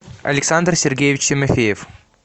александр сергеевич тимофеев